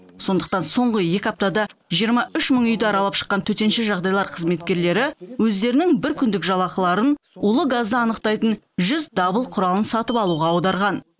сондықтан соңғы екі аптада жиырма үш мың үйді аралап шыққан төтенше жағдайлар қызметкерлері өздерінің бір күндік жалақыларын улы газды анықтайтын жүз дабыл құралын сатып алуға аударған